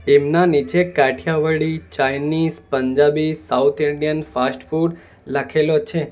એમના નીચે Kathiyawadi Chinese Punjabi south Indian fast food લખેલો છે.